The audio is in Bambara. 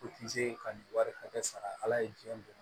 O ti se ka nin wari hakɛ sara ala ye jɛn don